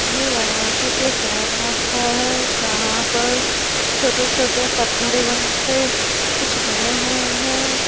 ये वाराणसी के सारनाथ का है जहाँ पर छोटे-छोटे पत्थर एवन् से कुछ बने हुए हैं।